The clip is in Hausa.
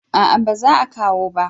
A'a ba za kawo ba